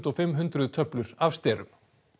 og fimm hundruð töflur af sterum